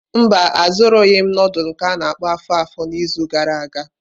Mba, azụrụghị m nudulu nke a-na akpo afo-afo n'izu gara aga.